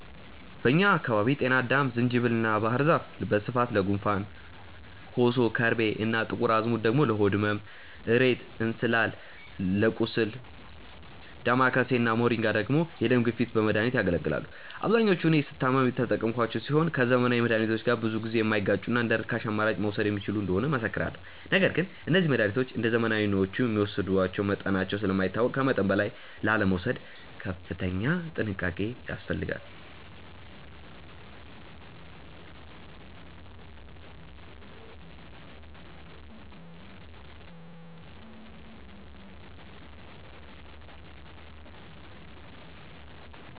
በእኛ አካባቢ ጤናአዳም፣ ዝንጅብል እና ባህር ዛፍ በስፋት ለጉንፋን፣ ኮሶ፣ ከርቤ እና ጥቁር አዝሙድ ደግሞ ለሆድ ህመም፣ እሬት እና እንስላል ለቁስል፣ ዳማከሴ እና ሞሪንጋ ደግሞ ለደም ግፊት በመድኃኒትነት ያገለግላሉ። አብዛኞቹን እኔ ስታመም የተጠቀምኳቸው ሲሆን ከዘመናዊ መድሃኒቶች ጋር ብዙ ጊዜ የማይጋጩና እንደርካሽ አማራጭ መወሰድ የሚችሉ እንደሆኑ እመሰክራለሁ። ነገር ግን እነዚህ መድሃኒቶች እንደዘመናዊዎቹ የሚወሰዱበት መጠናቸው ስለማይታወቅ ከመጠን በላይ ላለመውሰድ ከፍተኛ ጥንቃቄ ያስፈልጋል።